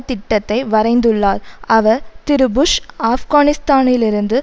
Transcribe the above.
திட்டத்தை வரைந்துள்ளார் அவர் திரு புஷ் ஆப்கானிஸ்தானிலிருந்து